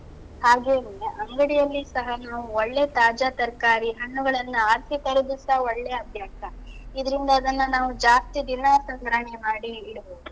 ಹಾಗೇನೇ, ಅಂಗಡಿಯಲ್ಲಿಯೂ ಸಹ ನಾವು ಒಳ್ಳೆ ತಾಜಾ ತರಕಾರಿ, ಹಣ್ಣುಗಳನ್ನ ಆರ್ಸಿ ತರುದುಸ ಒಳ್ಳೆಯ ಅಭ್ಯಾಸ. ಇದ್ರಿಂದ ಅದನ್ನ ನಾವು ಜಾಸ್ತಿ ದಿನ ಸಂಗ್ರಹಣೆ ಮಾಡಿ ಇಡ್ಬೋದು.